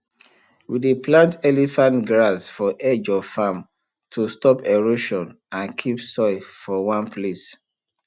we dey plant elephant grass for edge of farm to stop erosion and keep soil for one place